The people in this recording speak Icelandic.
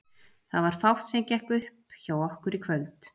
Það var fátt sem gekk upp hjá okkur í kvöld.